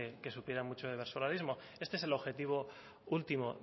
que supieran mucho de versolarismo este es el objetivo último